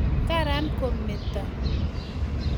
karan ko meete